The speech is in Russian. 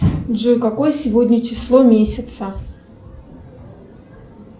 джой какое сегодня число месяца